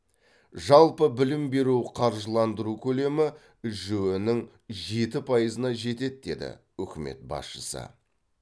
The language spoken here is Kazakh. жалпы білім беру қаржыландыру көлемі жіө нің жеті пайызына жетеді деді үкімет басшысы